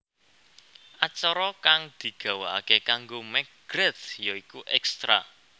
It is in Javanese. Acara kang digawakaké karo McGrath ya iku Extra